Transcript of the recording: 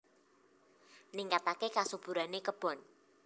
Ningkataké kasuburané kebon